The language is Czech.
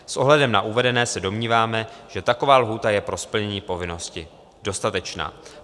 S ohledem na uvedené se domníváme, že taková lhůta je pro splnění povinnosti dostatečná.